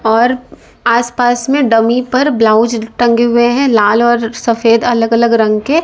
और आस पास में डमी पर ब्लाउज टंगे हुए हैं लाल और सफेद अलग अलग रंग के।